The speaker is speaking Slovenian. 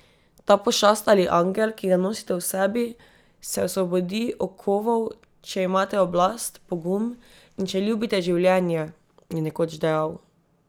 Ta pošast ali angel, ki ga nosite v sebi, se osvobodi okovov, če imate oblast, pogum in če ljubite življenje, je nekoč dejal.